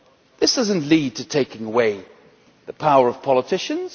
This does not lead to taking away the power of politicians.